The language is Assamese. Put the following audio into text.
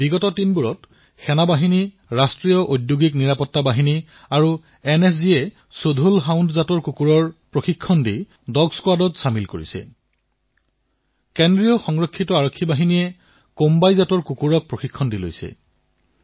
বিগত কিছু সময়ৰ পৰা আৰ্মী চিআইএছএফ এনএছজিয়ে মুধোল হাউণ্ড কুকুৰক প্ৰশিক্ষণ প্ৰদান কৰি ডগ স্কোৱাডত চামিল কৰি লৈছে চিআৰপিএফে কোম্বাই কুকুৰত নিজৰ দলত চামিল কৰিছে